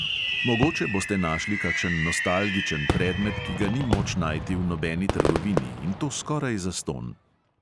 Mogoče boste našli kakšen nostalgičen predmet, ki ga ni moč najti v nobeni trgovini, in to skoraj zastonj.